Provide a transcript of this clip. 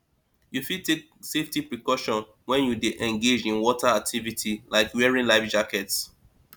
you fit take safety precauton when you dey engage in water activities like wearing life jackets